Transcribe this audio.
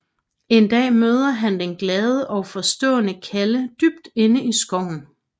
En dag møder han den glade og forstående Kalle dybt inde i skoven